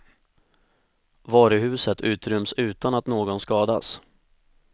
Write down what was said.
Varuhuset utryms utan att någon skadas.